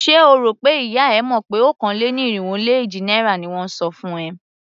Ṣé o rò pé ìyá e mọ̀ pé okòó-lé-ní-irínwó-lé-èjì náírà ni won ń san fún ẹ?